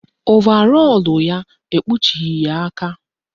Ovarọlụ ya ekpuchighi ya aka